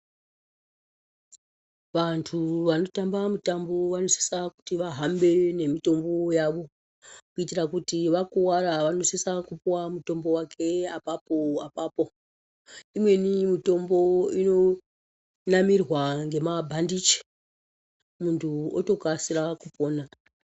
Vantu vanotamba mutambo vanosisa kuti vahambe nemitombo yavo, kuitira kuti vakuvara vanosisa kupuwa mutombo wake apapo apapo. Imweni mitombo inonamirwa ngemabhandichi, muntu otokasira kupona.